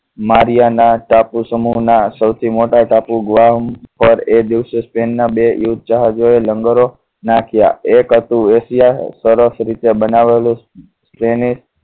Mariana ટાપુ સમૂહના સૌથી મોટા ટાપુ ગ્વામ પર એ દિવસે સ્પેનના બે યુદ્ધ જહાજોએ લંગરો નાખ્યા એક હતું એશિયા સરસ રીતે બનાવેલું જેને